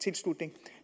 tilslutning